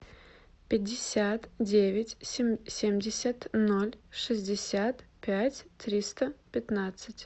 пятьдесят девять семьдесят ноль шестьдесят пять триста пятнадцать